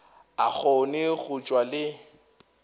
a kgone go tšwa le